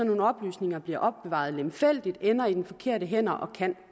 nogle oplysninger bliver opbevaret lemfældigt ender i de forkerte hænder og kan